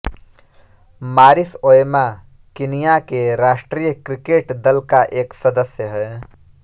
मारिस Oyama Kenya के राष्ट्रिय क्रिकेट दल का एक सदस्य है